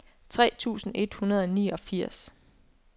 tre tusind et hundrede og niogfirs